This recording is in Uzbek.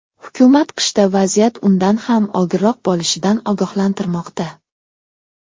Hukumat qishda vaziyat undan ham og‘irroq bo‘lishidan ogohlantirmoqda.